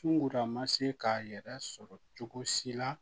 Sunkururama se k'a yɛrɛ sɔrɔ cogo si la